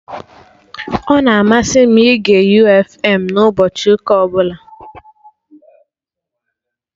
Ọ na-amasị m ịge U fm na ụbọchị ụka ọbụla